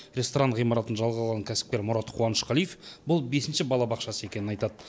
ресторан ғимаратын жалға алған кәсіпкер мұрат қуанышқалиев бұл бесінші балабақшасы екенін айтады